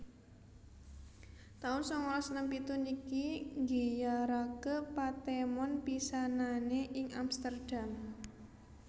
taun sangalas enem pitu niki nggiyaraké patemon pisanané ing Amsterdam